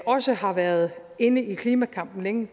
også har været inde i klimakampen længe